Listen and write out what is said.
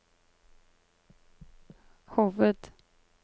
hoved